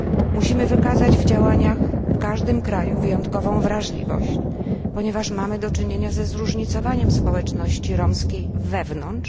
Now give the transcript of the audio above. Musimy wykazać w działaniach w każdym kraju wyjątkową wrażliwość, ponieważ mamy do czynienia ze zróżnicowaniem społeczności romskiej wewnątrz.